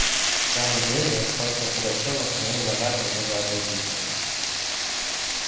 в самом деле сходство пугачёва с моим вожатым было разительно